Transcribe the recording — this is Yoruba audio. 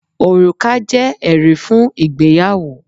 Òrùka jé èrí fún ìgbéyàwó